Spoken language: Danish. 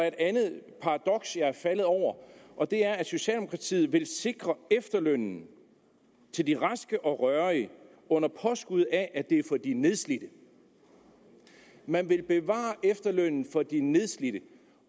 et andet paradoks jeg er faldet over og det er at socialdemokratiet vil sikre efterlønnen til de raske og rørige under påskud af at den er for de nedslidte man vil bevare efterlønnen for de nedslidte